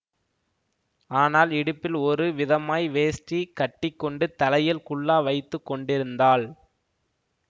ஆனால் இடுப்பில் ஒரு விதமாய் வேஷ்டி கட்டி கொண்டு தலையில் குல்லா வைத்து கொண்டிருந்தாள்